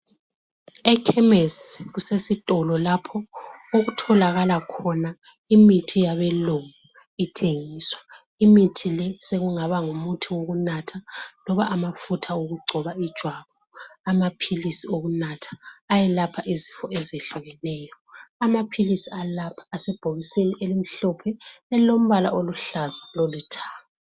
Ekhemisi kusesitolo lapho okutholakala khona imithi yabelungu ithengiswa. Imithi le sekungaba ngumuthi wokunatha loba amafutha okugcoba ijwabu amaphilisi okunatha ayelapha izifo ezehlukeneyo amaphilisi alaba asebhokisini elimhlophe elilombala oluhlaza lolithanga.